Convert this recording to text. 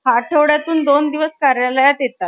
आठवड्यातून दोन दिवस कार्यालयात येतात ,